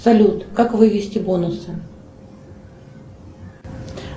салют как вывести бонусы